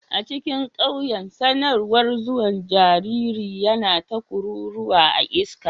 A cikin ƙauyen, sanarwar zuwan jariri yana ta kuruwa a iska.